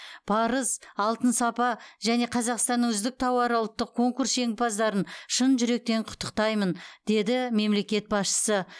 парыз алтын сапа және қазақстанның үздік тауары ұлттық конкурс жеңімпаздарын шын жүректен құттықтайтамын деді мемлекет басшысы